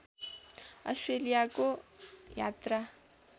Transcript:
अस्ट्रेलियाको यात्रा